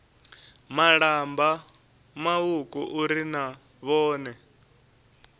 malamba mauku uri na vhone